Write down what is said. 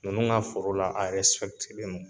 Ninnu ka foro la a ɛrɛsipɛkite len do